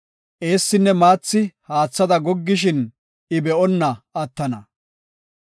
Eessinne maathi haathada goggishin, I be7onna attana.